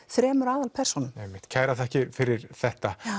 þremur aðalpersónum einmitt kærar þakkir fyrir þetta